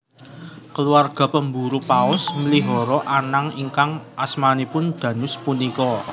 Keluarga pemburu paus mlihara anank ingkang asmanipun Dhanus punika